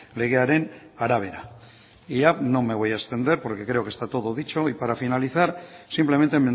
legearen arabera y ya no me voy a extender porque creo que está todo dicho y para finalizar simplemente